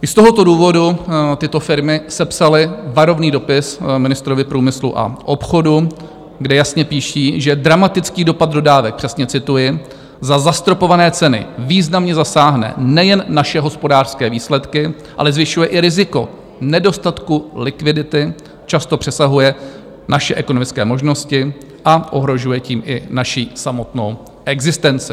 I z tohoto důvodu tyto firmy sepsaly varovný dopis ministrovi průmyslu a obchodu, kde jasně píší, že dramatický dopad dodávek - přesně cituji - za zastropované ceny významně zasáhne nejen naše hospodářské výsledky, ale zvyšuje i riziko nedostatku likvidity, často přesahuje naše ekonomické možnosti a ohrožuje tím i naši samotnou existenci.